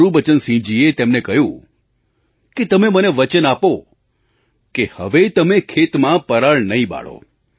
ગુરુબચનસિંહજીએ તેમને કહ્યું કે તમે મને વચન આપો કે હવે તમે ખેતમાં પરાળ નહીં બાળો